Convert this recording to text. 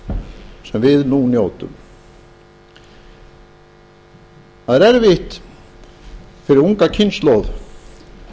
sem við njótum nú það er erfitt fyrir unga kynslóð